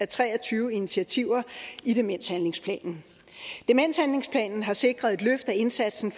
tre og tyve initiativer i demenshandlingsplanen demenshandlingsplanen har sikret et løft af indsatsen